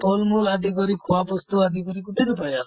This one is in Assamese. ফল মূল আদি কৰি খোৱা বস্তু আদি কৰি গটেইটো পায় আৰু।